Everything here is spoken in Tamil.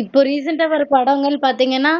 இப்பொ recent வர்ர படங்கள் பாதீங்கனா